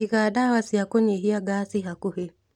Iga ndawa cia kũnyihia ngaci hakuhĩ